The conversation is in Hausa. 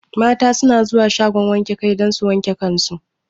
Mata su na zuwa shagon wanke kai don su wanke kan su